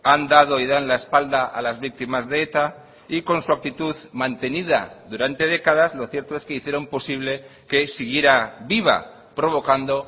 han dado y dan la espalda a las víctimas de eta y con su actitud mantenida durante décadas lo cierto es que hicieron posible que siguiera viva provocando